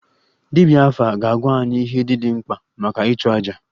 Dibia afa ga-agwa anyị ihe ndị dị mkpa maka ịchụ aja